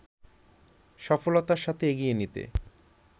সফলতার সাথে এগিয়ে নিতে